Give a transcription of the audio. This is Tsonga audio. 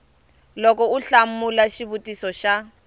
loko u hlamula xivutiso xa